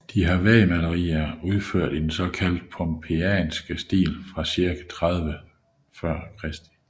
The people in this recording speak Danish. De har vægmalerier udført i den såkaldte anden pompejanske stil fra cirka 30 f